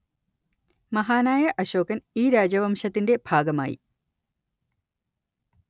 മഹാനായ അശോകന്‍ ഈ രാജവംശത്തിന്റെ ഭാഗമായി